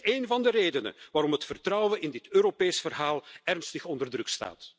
En het is een van de redenen waarom het vertrouwen in dit Europese verhaal ernstig onder druk staat.